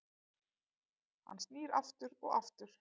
Ham snýr aftur og aftur